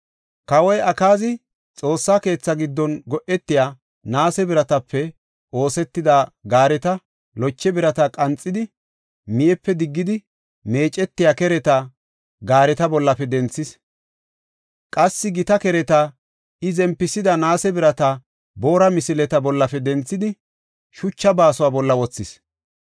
Kawoy Akaazi Xoossa keetha giddon go7etiya, naase biratape oosetida gaareta loche birata qanxidi, miyepe diggidi meecetiya kereta gaareta bollafe denthis. Qassi gita kereta, iya zempisida naase birata boora misileta bollafe denthidi, shucha baasuwa bolla wothis.